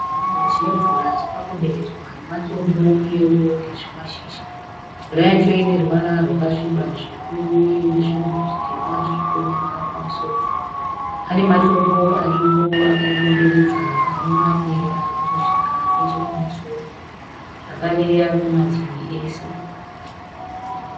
Chidhamu chinemvura chakakomberedzwa nematombo uyewo nezvimashizha. Mvura yacho ine ruvara rwakasviba zvikuru uye ine zvinhu zvitema zvirikuoneka pamusoro. Pane matombo aripo akaikomberedza ane mamwe arikusvika nechekumusoro, zvakare arikumativi ese.